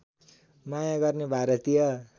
माया गर्ने भारतीय